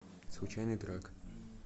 случайный трек